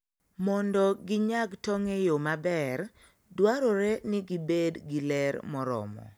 Mondo ginyag tong' e yo maber, dwarore ni gibed gi ler moromo.